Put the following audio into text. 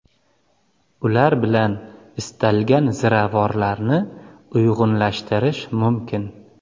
Ular bilan istalgan ziravorlarni uyg‘unlashtirish mumkin.